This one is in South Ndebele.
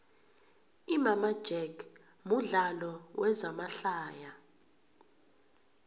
imama jack mudlalo wezama hlaya